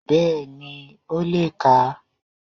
Bẹ́ẹ̀ni ó le kà á